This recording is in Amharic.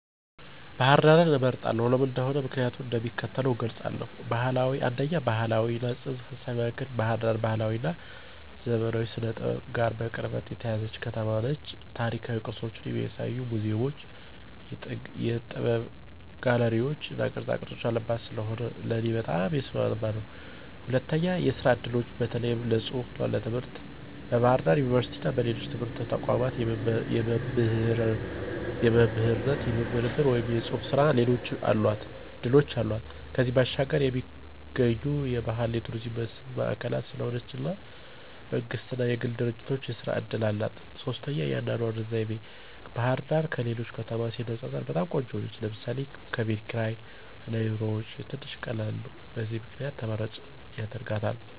ባህር ዳርን እመርጣለሁ። ለምን እንደሆነ ምክንያቲን እንደሚከተለው እገልፃለሁ፦ 1, ባህላዊ እና ፅንሰ-ሀሳባዊ ማእከል ባህር ዳር ባህላዊ እና ዘመናዊ ስነ-ጥበብ ጋር በቅርበት የተያያዘች ከተማ ነች። ታሪካዊ ቅርሶችን የሚያሳዩ ሙዚየሞች፣ የጥበብ ጋለሪዎች እና ቅርፃቅረፅ ያሉባት ስለሆነ ለእኔ በጣም የሚስማማኝ ነው። 2, የስራ እድሎች (በተለይ ለፅሁፍ እና ትምህርት) ፦ በባህር ዳር ዩኒቨርሲቲ እና ሌሎች ትምህርታዊ ተቋማት የመምህርነት፣ የምርምር ወይም የጽሑፍ ሥራ ዕድሎች አሏት። ከዚያም ባሻገር የሚገኙ የባህል የቱሪዝም መስህብ ማእከል ስለሆነች እና መንግስት እና የግል ድርጂቶች የስራ እድል አላት። 3, የአኗኗር ዘይቤ፦ ባህርዳር ከሌሎች ከተማ ሲነፃፀር በጣም ቆንጆ ነው ለምሳሌ፦ ከቤት ክርይ እና የኑሮ ወጪ ትንሽ ቀላል ነው። በዚህ ምክንያት ተመራጭ ያደርጋታል።